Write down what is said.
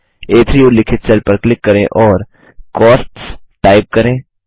आ3 उल्लिखित सेल पर क्लिक करें और कॉस्ट्स टाइप करें